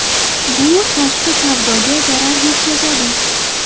Bu tashqi savdoga zarar yetkazadi.